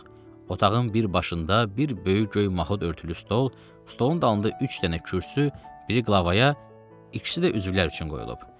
Otağın bir başında bir böyük göy mahud örtülü stol, stolun dalında üç dənə kürsü, biri qlavaya, ikisi də üzvlər üçün qoyulub.